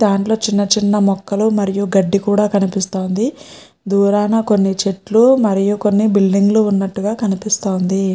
దాంట్లో చిన్న చిన్న మొక్కలు మరియు గడ్డి కూడా కనిపిస్తోంది దూరాన కొన్ని చెట్లు మరియు కొన్ని బిల్డింగు లు ఉన్నట్టుగా కనిపిస్తోంది.